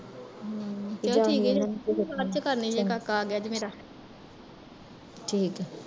ਹਮ ਚੱਲ ਠੀਕ ਐ ਚਾਚੀ ਜੀ ਮੈਂ ਬਾਦ ਚ ਕਰਦੀ ਜੇ ਕਾਕਾ ਆਗਿਆ ਜੇ ਮੇਰਾ